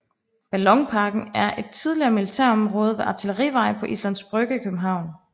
Ballonparken er et tidligere militærområde ved Artillerivej på Islands Brygge i København